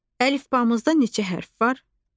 Əlifbamızda neçə hərf var?